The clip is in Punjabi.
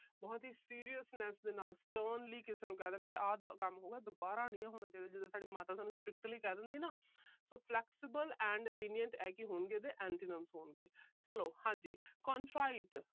ਬਹੁਤ ਹੀ seriousness ਦੇ ਨਾਲ sternly ਆਹ ਕੰਮ ਦੁਬਾਰਾ ਨਹੀਂ ਹੋਣਾ ਚਾਹੀਦਾ। ਜਦੋਂ ਤੁਹਾਡੀ ਮਾਤਾ ਤੁਹਾਨੂੰ strictly ਕਹਿ ਦਿੰਦੀ ਏ ਨਾ। so flexible and lenient ਆਹ ਕੀ ਹੋਣਗੇ ਇਹਦੇ antonyms ਹੋਣਗੇ। ਚਲੋ ਹਾਂਜੀ contrite